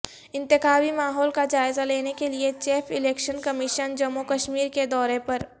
انتخابی ماحول کا جائزہ لینے کیلئے chief election commission Jammu Kashmir کے دورہ پر